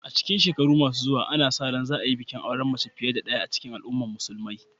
A cikin shekaru masu zuwa, ana sa ran za a yi bikin auren mace fiye da ɗaya cikin al’umman musulmai.